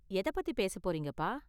எதைப் பத்தி பேசப் போறீங்க, அப்பா?